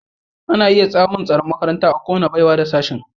Ana iya samun tsaron makaranta a kowace baiwa da Sashen